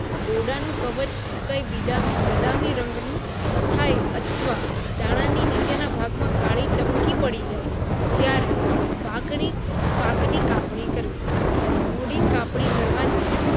દોડનું કવચ સુકાય બદામી રંગની તઃય અથવા દાનની નીચેના ભાગ માં કળા રંગની ટપકી પડી જાય ત્યારે પાક ની પાક ની કપણી કરવી મોદી કપણી કરવાથી